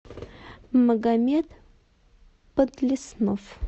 магомед подлеснов